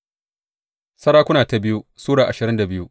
biyu Sarakuna Sura ashirin da biyu